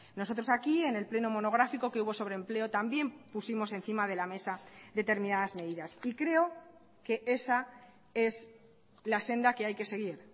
nosotros aquí en el pleno monográfico que hubo sobre empleo también pusimos encima de la mesa determinadas medidas y creo que esa es la senda que hay que seguir